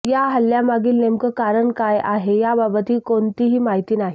या हल्ल्यामागील नेमकं कारण काय आहे याबाबतही कोणतीही माहिती नाही